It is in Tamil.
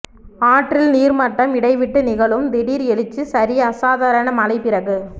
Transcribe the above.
ஆற்றில் நீர்மட்டம் இடைவிட்டு நிகழும் திடீர் எழுச்சி சரி அசாதாரண மழை பிறகு